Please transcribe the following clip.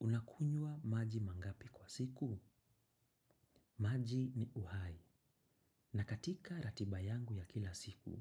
Unakunyua maji mangapi kwa siku? Maji ni uhai. Na katika ratiba yangu ya kila siku,